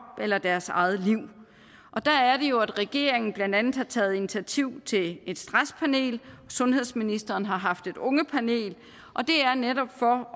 eller deres eget liv der er det jo at regeringen blandt andet har taget initiativ til et stresspanel og sundhedsministeren har haft et ungepanel og det er netop for